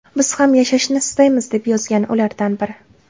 Biz ham yashashni istaymiz”, deb yozgan ulardan biri.